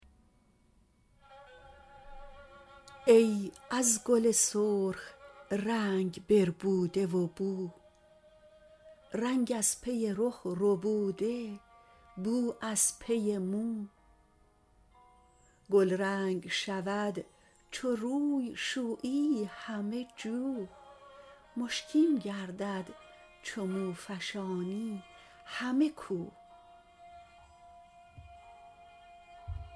ای از گل سرخ رنگ بربوده و بو رنگ از پی رخ ربوده بو از پی مو گلرنگ شود چو روی شویی همه جو مشکین گردد چو مو فشانی همه کو